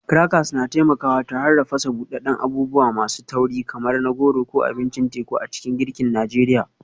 Crackers na taimakawa tare da fasa buɗaɗɗen abubuwa masu tauri kamar na goro ko abincin teku a cikin girkin Najeriya.